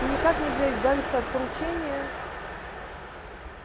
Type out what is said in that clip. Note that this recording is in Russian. и никак нельзя избавиться от поручения